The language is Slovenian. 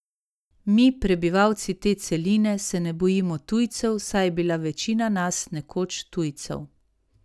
Mi, prebivalci te celine, se ne bojimo tujcev, saj je bila večina nas nekoč tujcev.